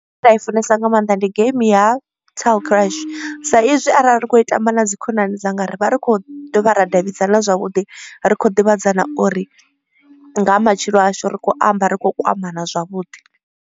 Nda i funesa nga maanḓa ndi game ya toll crush sa izwi arali ri kho i tamba na dzi khonani dzanga ri vha ri khou dovha ra davhidzana zwavhuḓi. Ri kho ḓivhadzana uri nga matshilo ashu ri kho amba ri khou kwamana zwavhuḓi.